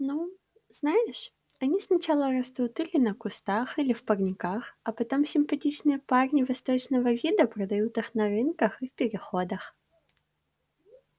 ну знаешь они сначала растут или на кустах или в парниках а потом симпатичные парни восточного вида продают их на рынках и в переходах